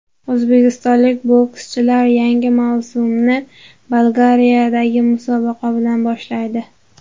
O‘zbekistonlik bokschilar yangi mavsumni Bolgariyadagi musobaqa bilan boshlaydi.